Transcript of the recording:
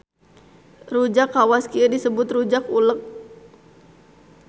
Rujak kawas kieu disebut rujak uleg.